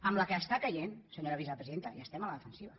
amb la que està caient senyora vicepresidenta i estem a la defensiva